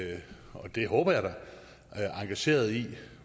og det håber jeg da engageret i